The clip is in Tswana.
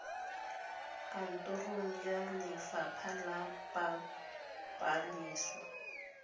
kantorong ya lefapha la pabalesego